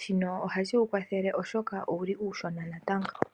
shino ohashi wukwathele oshoka owuli uushona natango.